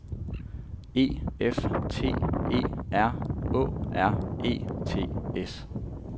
E F T E R Å R E T S